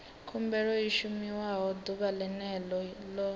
khumbelo i shumiwa ḓuvha ḽene ḽo